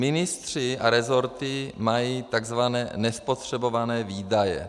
Ministři a rezorty mají tzv. nespotřebované výdaje.